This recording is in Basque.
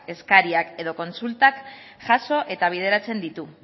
eskaerak edo kontsultak jaso eta bideratzen ditu